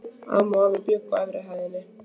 Amma og afi bjuggu á efri hæðinni.